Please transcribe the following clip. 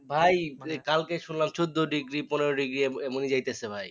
ভাই কালকে শুনলাম চোদ্দো ডিগ্রী পনেরো ডিগ্রী এ এমনই যাইতেছে ভাই